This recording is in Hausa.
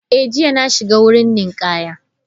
Eh, jiya na shiga wurin ninkaya.